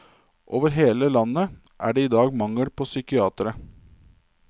Over hele landet er det i dag mangel på psykiatere.